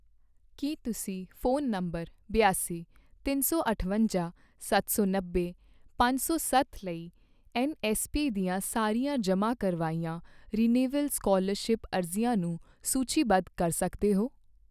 ਕੀ ਤੁਸੀਂ phone number ਬਿਆਸੀ, ਤਿੰਨ ਸੌ ਅਠਵੰਜਾ, ਸੱਤ ਸੌ ਨੱਬੇ, ਪੰਜ ਸੌ ਸੱਤ ਲਈ ਐੱਨਐੱਸਪੀ ਦੀਆਂ ਸਾਰੀਆਂ ਜਮ੍ਹਾਂ ਕਰਵਾਈਆਂ ਰਿਨਿਵੇਲ ਸਕਾਲਰਸ਼ਿਪ ਅਰਜ਼ੀਆਂ ਨੂੰ ਸੂਚੀਬੱਧ ਕਰ ਸਕਦੇ ਹੋ?